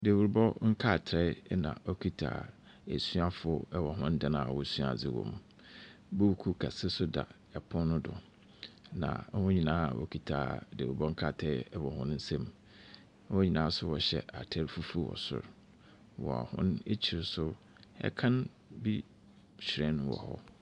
Dawurubɔ nkrataa yi na ɛkita asuafoɔ ɛwɔ hɔn dan a wɔsua adeɛ wɔ mu. Buuku kɛseɛ da ɛpono no do na wɔn nyinaa wɔkita dawurubɔ nkrataa wɔ wɔn nsam . Wɔn nyinaa nso wɔhyɛ ataare fufuo wɔ soro. Wɔ wɔn akyiri nso ɛkan bi hyerɛn wɔ hɔ.